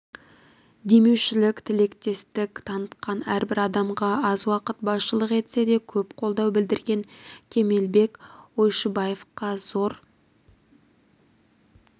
демеушілік тілектестік танытқан әрбір адамға аз уақыт басшылық етсе де көп қолдау білдірген кемелбек ойшыбаевқа зор